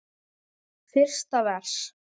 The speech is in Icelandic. Fyrsta vers.